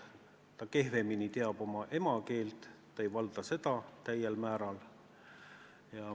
Ta teab kehvemini oma emakeelt, ta ei valda seda täiel määral.